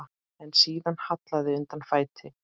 En síðan hallaði undan fæti.